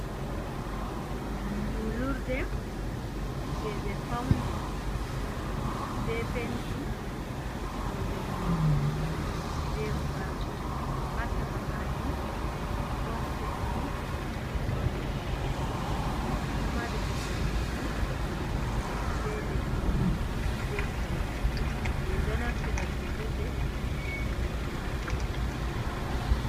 Juulurde jei be fauni be penti nonde goro be burawon. Ha caka majum ɗon penti node ɓokko ɓokko, ɗo mari kuje juɗɗum be lewru be koode,. Min ɗo naftira juulurde ngam juulugo wakkati.